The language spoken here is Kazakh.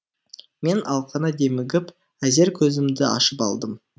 мен алқына демігіп әзер көзімді ашып алдым